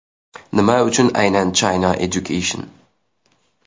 Nima uchun aynan China Education?